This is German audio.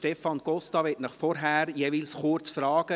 Stefan Costa möchte Sie jeweils vorher kurz fragen: